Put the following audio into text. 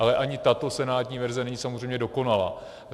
Ale ani tato senátní verze není samozřejmě dokonalá.